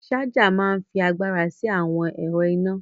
Ṣaja máa ń fi agbára sí àwọn ẹ̀rọ iná